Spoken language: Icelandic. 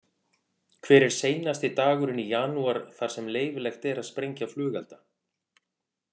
Hver er seinasti dagurinn í janúar þar sem leyfilegt er að sprengja flugelda?